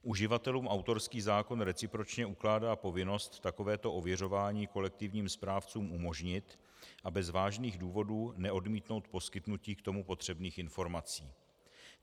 Uživatelům autorský zákon recipročně ukládá povinnost takovéto ověřování kolektivním správcům umožnit a bez vážných důvodů neodmítnout poskytnutí k tomu potřebných informací.